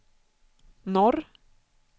norr